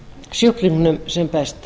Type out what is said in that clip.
sjúklingnum sem best